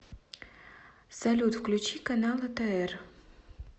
салют включи канал отр